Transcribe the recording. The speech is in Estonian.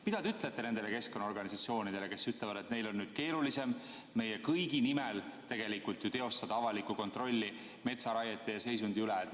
Mida te ütlete nendele keskkonnaorganisatsioonidele, kes ütlevad, et neil on nüüd keerulisem tegelikult ju meie kõigi nimel teostada avalikku kontrolli metsaraiete ja ‑seisundi üle?